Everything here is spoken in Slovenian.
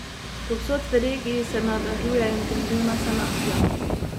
Povsod v regiji se nadaljuje intenzivna sanacija.